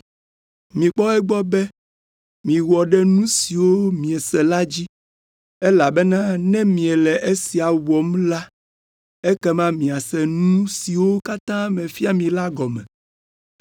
Mikpɔ egbɔ be miewɔ ɖe nu siwo miese la dzi, elabena ne miele esia wɔm la, ekema miase nu siwo katã mefia mi la gɔme.